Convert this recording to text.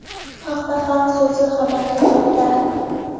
Bu haqda Xalq so‘zi xabar bermoqda .